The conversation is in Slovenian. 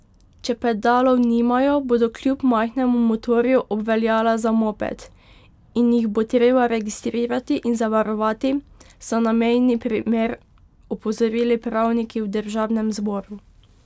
Če pedalov nimajo, bodo kljub majhnemu motorju obveljala za moped, in jih bo treba registrirati in zavarovati, so na mejni primer opozorili pravniki v državnem zboru.